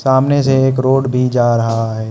सामने से एक रोड भी जा रहा है।